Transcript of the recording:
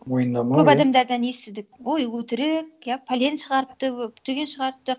мойындамау көп адамдардан естідік ой өтірік иә пәлен шығарыпты түген шығарыпты